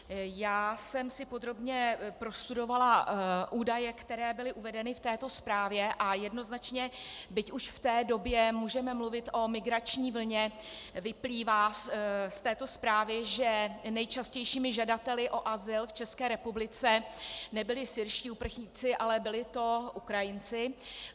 Já jsem si podrobně prostudovala údaje, které byly uvedeny v této zprávě, a jednoznačně, byť už v té době můžeme mluvit o migrační vlně, vyplývá z této zprávy, že nejčastějšími žadateli o azyl v České republice nebyli syrští uprchlíky, ale byli to Ukrajinci.